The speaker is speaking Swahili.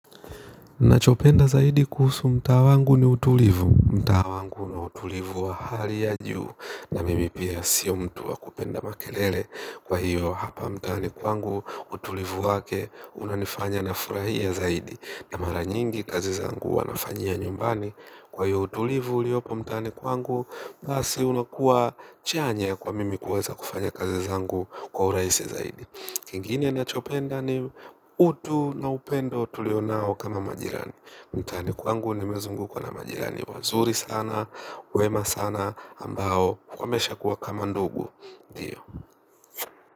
Nachopenda zaidi kuhusu mtaa wangu ni utulivu, mtaa wangu na utulivu wa hali ya juu na mimi pia sio mtu wa kupenda makelele kwa hiyo hapa mtaani kwangu utulivu wake unanifanya nafurahia zaidi na mara nyingi kazi zangu huwa nafanyia nyumbani kwa hiyo utulivu uliopo mtaani kwangu basi unakuwa chanya ya kuwa mimi kuweza kufanya kazi zangu kwa uraisi zaidi. Kingine nachopenda ni utu na upendo tulio nao kama majirani. Mtaani kwangu nimezungukwa na majirani wazuri sana, wema sana, ambao wamesha kuwa kama ndugu ndio.